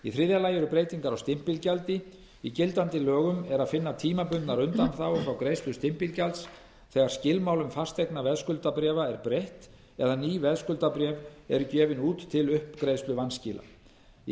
í þriðja lagi eru breytingar á stimpilgjaldi í gildandi lögum er að finna tímabundnar undanþágur frá greiðslu stimpilgjalds þegar skilmálum fasteignaveðskuldabréfa er breytt eða ný veðskuldabréf eru gefin út til uppgreiðslu vanskila í